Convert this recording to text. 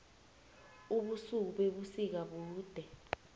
ubusuku bebusika bude